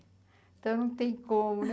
Então não tem como né